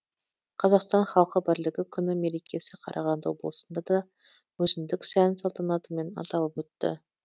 қазақстан халқы бірлігі күні мерекесі қарағанды облысында да өзіндік сән салтанатымен аталып өтті